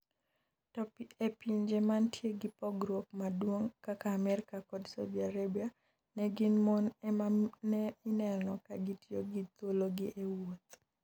To e pinje mantie gi pogruok maduong', kaka Amerika kod Saudi Arabia, ne gin mon emane ineno ka gitiyo gi thuologi e wuoth.